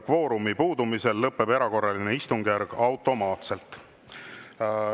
Kvoorumi puudumisel lõpeb erakorraline istungjärk automaatselt.